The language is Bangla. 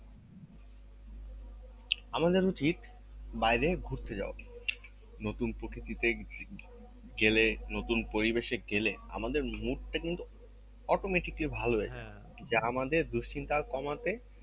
আমাদের উচিত বাইরে ঘুরতে যাওয়া নতুন প্রকৃতি দেখ~ গেলে নতুন পরিবেশে গেলে আমাদের mood টা কিন্তু automaticly ভালো হয়ে যাই যা আমাদের দুশ্চিন্তা কমাতে